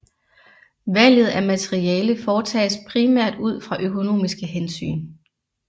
Valget af materiale foretages primært ud fra økonomiske hensyn